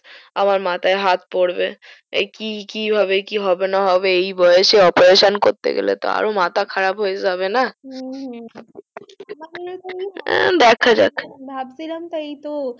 আমার মাথায় হাত পরবে এ একি কি হবে কি হবেনা এই বয়স এ operation করতে গেলে মাথা খারাপ হয় যাবেনা হ্যা ধক্য যাক ভাবছিলাম তো এই তো